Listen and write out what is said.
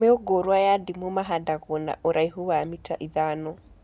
Mĩũngũrwa ya ndimu mahandagwo na ũraihu wa mita ithano